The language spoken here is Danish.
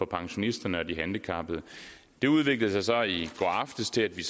pensionisterne og de handicappede det udviklede sig så i går aftes til at vi